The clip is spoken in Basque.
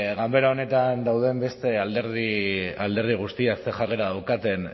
ganbera honetan dauden beste alderdi guztiek ze jarrera daukaten